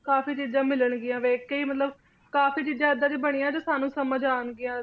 ਕਾਫੀ ਚੀਜ਼ਾਂ ਮਿਲਣ ਗਿਯਾਂ ਵੇਖ ਕੇ ਈ ਮਤਲਬ ਕਾਫੀ ਚੀਜ਼ਾਂ ਏਦਾਂ ਡਿਯਨ ਬਨਿਯਾਂ ਜੋ ਸਾਨੂ